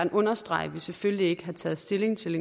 understrege at vi selvfølgelig ikke har taget stilling til